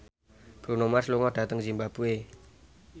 Bruno Mars lunga dhateng zimbabwe